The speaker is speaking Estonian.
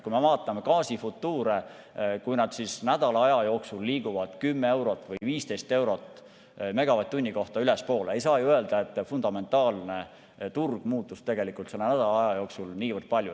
Kui me vaatame gaasifutuure, seda, kuidas need nädala aja jooksul liiguvad 10 või 15 eurot megavatt-tunni kohta ülespoole, siis ei saa ju öelda, et fundamentaalne turg muutus selle nädala aja jooksul niivõrd palju.